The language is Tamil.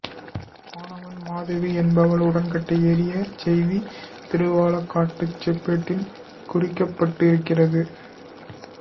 வானவன் மாதேவி என்பவள் உடன்கட்டை ஏறிய செய்தி திருவாலங்காட்டுச் செப்பேட்டில் குறிக்கப்பட்டிருக்கிறது